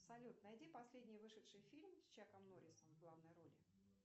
салют найди последний вышедший фильм с чаком норрисом в главной роли